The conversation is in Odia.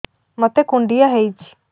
ମୋତେ କୁଣ୍ଡିଆ ହେଇଚି